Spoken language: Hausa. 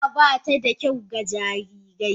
Zuma ba ta da kyau ga jarirai.